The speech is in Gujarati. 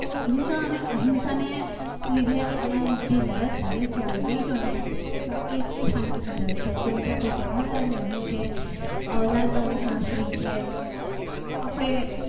હિંસા અને અહિંસાને લીધે આપણે જે લડત લડી છે અંગ્રેજોને એટલે જ શાંતિથી લડી છે જેમ કે આપણે જવાલાલ નેહરૂ છે લાલ બહાદુર શાસ્ત્રી છ આપણે